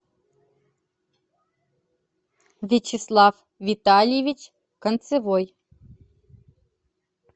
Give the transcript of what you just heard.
вячеслав витальевич концевой